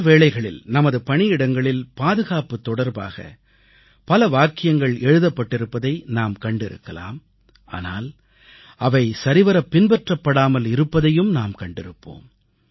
பல வேளைகளில் நமது பணியிடங்களில் பாதுகாப்பு தொடர்பாக பல வாக்கியங்கள் எழுதப்பட்டிருப்பதை நாம் கண்டிருக்கலாம் ஆனால் அவை சரிவரப் பின்பற்றாமல் இருப்பதையும் நாம் கண்டிருப்போம்